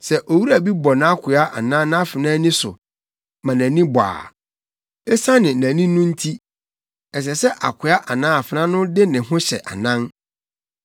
“Sɛ owura bi bɔ nʼakoa anaa nʼafenaa ani so ma nʼani bɔ a, esiane nʼani no nti, ɛsɛ sɛ akoa anaa afenaa no de ne ho hyɛ anan.